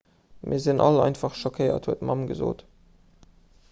mir sinn all einfach schockéiert huet d'mamm gesot